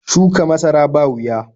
Shuka masara ba wuya.